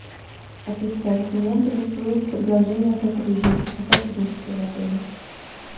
ассистент меня интересует предложение о сотрудничестве в отеле